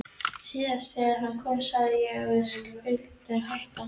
Síðast þegar hann kom sagði ég að við skyldum hætta.